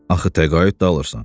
Axı təqaüd də alırsan.